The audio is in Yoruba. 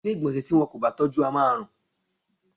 Ilé ìgbọ̀nsẹ̀ tí wọn kò bá tọ́jú á ma rùn.